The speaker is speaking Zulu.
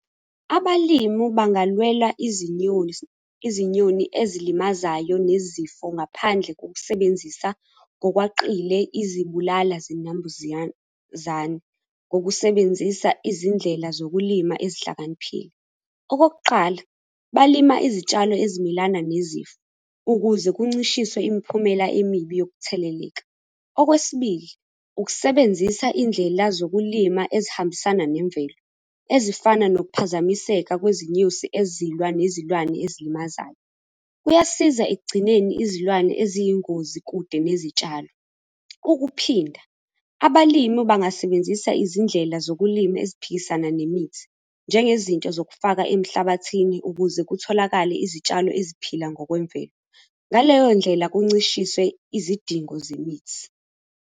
Abalimi bangalwela izinyoni, izinyoni ezilimazayo nezifo ngaphandle kokusebenzisa ngokweqile, izibulala zinambuzane ngokusebenzisa izindlela zokulima ezihlakaniphile. Okokuqala balima izitshalo ezimelana nezifo ukuze kuncishiswe imiphumela emibi yokutheleleka. Okwesibili, ukusebenzisa iy'ndlela zokulima ezihambisana nemvelo ezifana nokuphazamiseka kwezinyosi ezilwa nezilwane ezilimazayo kuyasiza ekugcineni izilwane eziyingozi kude nezitshalo. Ukuphinda abalimi bangasebenzisa izindlela zokulima esiphilisane nemithi njengezinto zokufaka emhlabathini ukuze kutholakale izitshalo eziphila ngokwemvelo ngaleyo ndlela kuncishiswe izidingo zemithi.